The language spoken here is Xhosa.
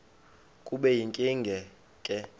kube yinkinge ke